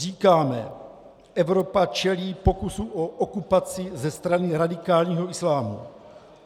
Říkáme, Evropa čelí pokusu o okupaci ze strany radikálního islámu.